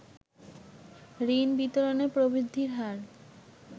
ঋণ বিতরণে প্রবৃদ্ধির হার